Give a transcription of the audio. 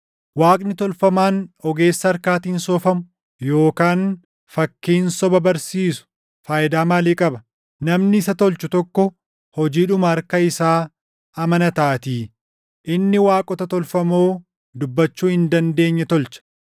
“Waaqni tolfamaan ogeessa harkaatiin soofamu yookaan fakkiin soba barsiisu faayidaa maalii qaba? Namni isa tolchu tokko hojiidhuma harka isaa amanataatii; inni waaqota tolfamoo dubbachuu hin dandeenye tolcha.